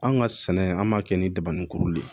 An ka sɛnɛ an b'a kɛ ni daba ni kuru de ye